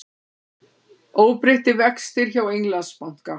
Óbreyttir vextir hjá Englandsbanka